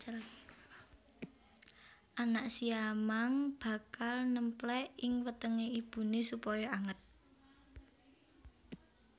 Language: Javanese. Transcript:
Anak siamang bakal némplék ing wetengé ibuné supaya anget